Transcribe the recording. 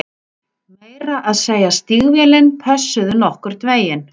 Meira að segja stígvélin pössuðu nokkurn veginn